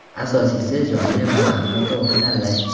Asosiysi joyni va vaqtni to‘g‘ri tanlash.